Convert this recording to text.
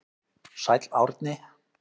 Sæll Árni.